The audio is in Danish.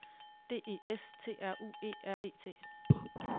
D E S T R U E R E T